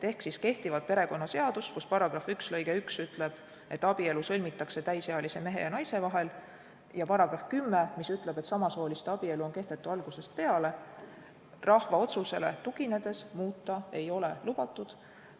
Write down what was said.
Ehk kehtivat perekonnaseadust, mille § 1 lõige 1 ütleb, et abielu sõlmitakse täisealise mehe ja naise vahel, ja mille § 10 ütleb, et samasooliste abielu on kehtetu algusest peale, rahva otsusele tuginedes muuta ei ole lubatud.